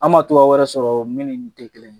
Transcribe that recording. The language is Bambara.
An ma togoya wɛrɛ sɔrɔ min ni nin te kelen ye.